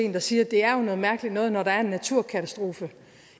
en der siger at det er noget mærkeligt noget at når der er en naturkatastrofe